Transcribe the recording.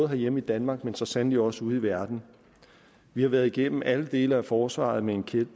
herhjemme i danmark men så sandelig også ude i verden vi har været igennem alle dele af forsvaret med en